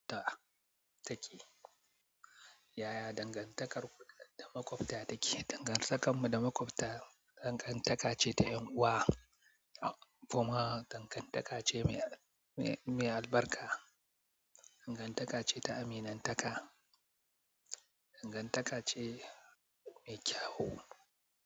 Yaya dangantar ku da maƙota take? Dangantakarmu da maƙwabta dangantaka ce ta 'yan'uwa kuma dangantaka ce mai, mai albarka. Dangantaka ce ta aminantaka. Dangantaka ce mai kyau.